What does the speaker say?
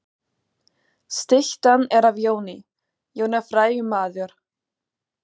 Styttan er af Jóni. Jón er frægur maður.